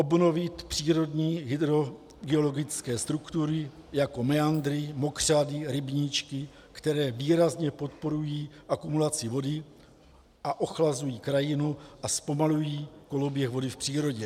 Obnovit přírodní hydrogeologické struktury jako meandry, mokřady, rybníčky, které výrazně podporují akumulaci vody a ochlazují krajinu a zpomalují koloběh vody v přírodě.